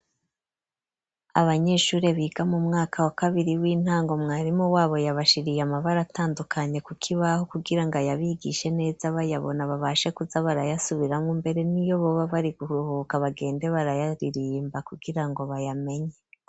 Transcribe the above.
Abanyeshuri biga mu mwaka wa kabiri w'intango mwarimu wabo yabashiriye amabara atandukanye ku kibaho kugira ngo ayabigishe neza bayabona babashe kuza barayasubiramwo mbere n'iyo boba bari kuruhuka bagende barayaririmba kugira ngo bayamenye.